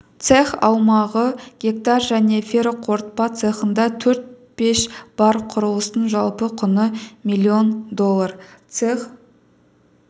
цех аумағы гектар жаңа ферроқорытпа цехында төрт пеш бар құрылыстың жалпы құны милллион доллар цех